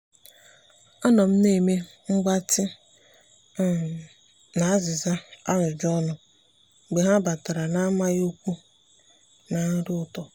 anọ m na-eme mgbatị um na azịza ajụjụ ọnụ mgbe ha batara na-amaghị ọkwa na nri ụtọ.